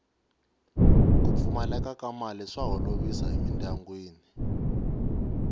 ku pfumaleka ka mali swa holovisa emindyangwini